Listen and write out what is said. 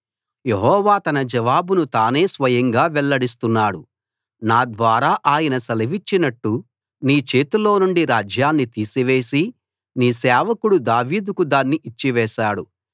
యెహోవా తన జవాబును తానే స్వయంగా వెల్లడిస్తున్నాడు నా ద్వారా ఆయన సెలవిచ్చినట్టు నీ చేతిలో నుండి రాజ్యాన్ని తీసివేసి నీ సేవకుడు దావీదుకు దాన్ని ఇచ్చివేశాడు